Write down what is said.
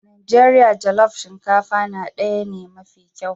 Najeriya jollof shinkafa na daya ne mafi kyau.